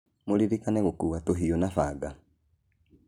Mũririkane gũkua tũhiũ na banga